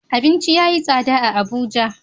Abinci yayi tsada a abuja